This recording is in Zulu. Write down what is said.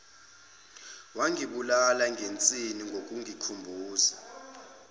wangibulala ngensini ngokungikhumbuza